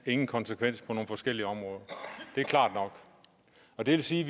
ingen konsekvens på nogle forskellige områder det er klart nok og det vil sige